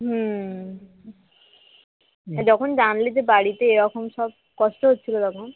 হম যখন জানলে যে বাড়িতে এরকম সব কষ্ট হচ্ছিল তখন